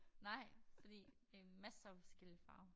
Nej fordi det masser af forskellige farver